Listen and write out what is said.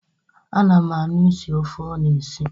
A na m ahụ isi ofe ọ na-esi